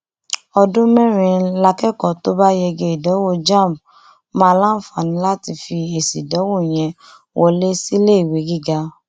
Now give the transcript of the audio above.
ọdún mẹrin lákẹkọọ tó bá yege ìdánwò jamb máa láǹfààní láti fi èsì ìdánwò yẹn wọlé síléèwé gíga